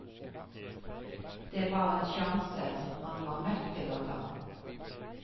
Det var en sjanse han var nødt til å ta.